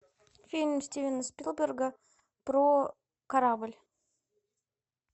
фильм стивена спилберга про корабль